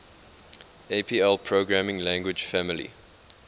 apl programming language family